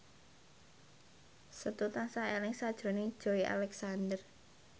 Setu tansah eling sakjroning Joey Alexander